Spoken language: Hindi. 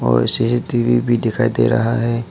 और सी_सी_टी_वी भी दिखाई दे रहा है।